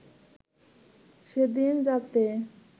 সেদিন রাত্রে